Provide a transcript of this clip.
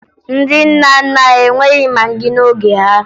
Ndị nna nna anyị enweghi magị n'oge ha